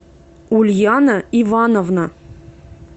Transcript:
ульяна ивановна